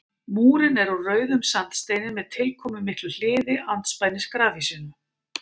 Múrinn er úr rauðum sandsteini með tilkomumiklu hliði andspænis grafhýsinu.